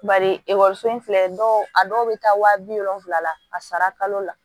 Bari ekɔliso in filɛ dɔw a dɔw bɛ taa waa bi wolonfila la a sara kalo la